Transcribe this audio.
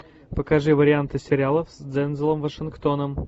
покажи варианты сериалов с дензелом вашингтоном